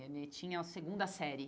Ele tinha a segunda série.